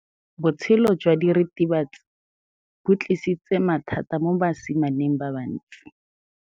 Botshelo jwa diritibatsi ke bo tlisitse mathata mo basimaneng ba bantsi.